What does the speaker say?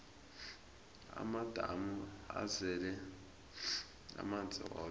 amadamu azele amanzi woke